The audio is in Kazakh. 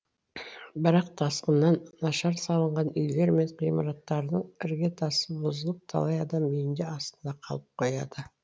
бірақ тасқыннан нашар салынған үйлер мен ғимараттардың іргетасы бұзылып талай адам үйінде астында қалып қояды